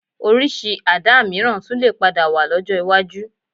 Orísìí Àdá mìíràn tún lè padà wà lọ́jọ́ iwájú